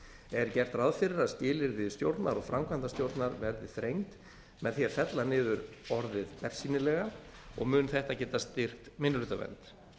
er gert ráð fyrir að skilyrði stjórnar og framkvæmdastjórnar verði þrengd með því að fella niður orðið bersýnilega og mun þetta geta styrkt minnihlutavernd